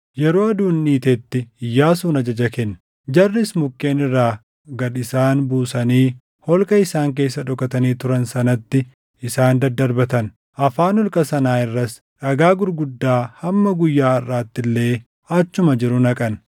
Yeroo aduun dhiitetti Iyyaasuun ajaja kenne; jarris mukkeen irraa gad isaan buusanii holqa isaan keessa dhokatanii turan sanatti isaan daddarbatan. Afaan holqa sanaa irras dhagaa gurguddaa hamma guyyaa harʼaatti illee achuma jiru naqan.